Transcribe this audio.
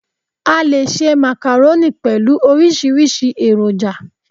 A leè se macaroni pẹ̀lú orísírìsí èròjà